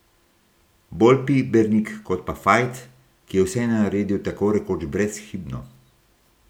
Bolj Pibernik kot pa Fajt, ki je vse naredil takorekoč brezhibno.